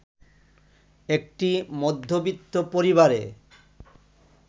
একটি মধ্যবিত্ত পরিবারে